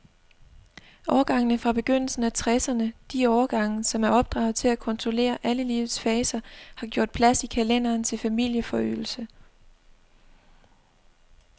Årgangene fra begyndelsen af tresserne, de årgange, som er opdraget til at kontrollere alle livets faser, har gjort plads i kalenderen til familieforøgelse.